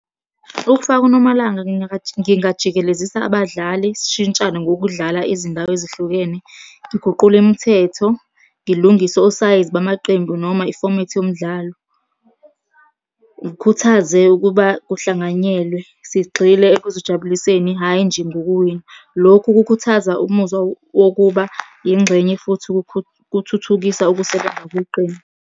Ukufaka uNomalanga ngingajikelezisa abadlali sishintshane ngokudlala izindawo ezihlukene. Ngiguqule imithetho, ngilungise osayizi bamaqembu noma ifomethi yomdlalo. Ngikhuthaze ukuba kuhlanganyelwe. Sigxile ekuzijabuliseni, hhayi nje ngokuwina. Lokhu kukhuthaza umuzwa wokuba yingxenye, futhi kuthuthukisa ukusebenza kweqembu.